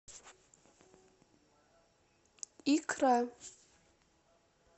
икра